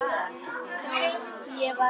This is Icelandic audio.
Sá var